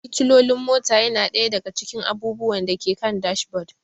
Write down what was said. Fitilolin mota yana ɗaya daga cikin abubuwan da ke kan dashboard.